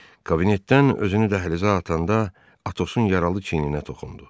Kabinetdən özünü dəhlizə atanda Atosun yaralı çiyninə toxundu.